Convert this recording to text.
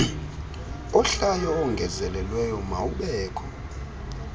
ohlayo owongezelelweyo mawubekho